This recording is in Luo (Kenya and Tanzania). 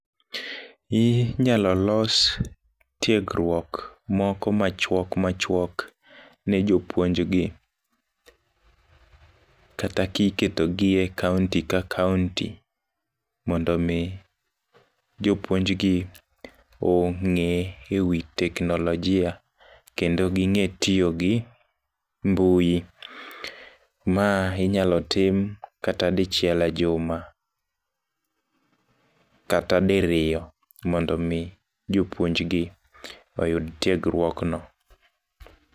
Inyalo los tiegruok moko machuok machuok ne jopuonj gi. Kata ka iketo gi e kaunti ka kaunti mondo omi jopuonj gi, ongé e wi teknolojia. Kendo gingé tiyo gi mbui. Ma inyalo tim kata dichiel e juma, kata diriyo mondo omi jopuonj gi oyud tiegruok no.